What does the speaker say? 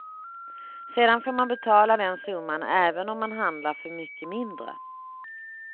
Sedan får man betala den summan även om man handlar för mycket mindre.